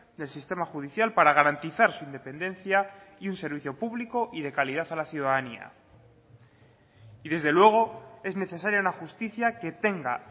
del sistema judicial para garantizar su independencia y un servicio público y de calidad a la ciudadanía y desde luego es necesaria una justicia que tenga